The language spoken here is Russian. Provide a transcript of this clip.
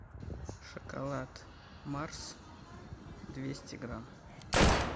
шоколад марс двести грамм